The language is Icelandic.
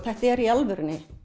þetta er í alvörunni